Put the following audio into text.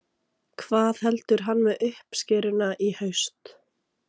Hvað heldur hann með uppskeruna í haust?